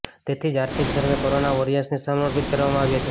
તેથી જ આર્થિક સર્વે કોરોના વોરિયર્સને સમર્પિત કરવામાં આવ્યો છે